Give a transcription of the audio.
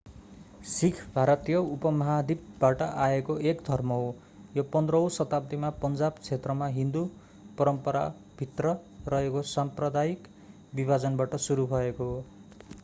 सिख भारतीय उपमहाद्वीपबाट आएको एक धर्म हो यो 15 औँ शताब्दीमा पञ्जाब क्षेत्रमा हिन्दू परम्पराभित्र रहेको साम्प्रदायिक विभाजनबाट सुरु भएको हो